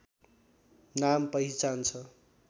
नाम पहिचान छ